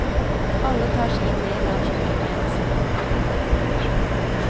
Alle tar sin del av kjøkkentjenesten. punktum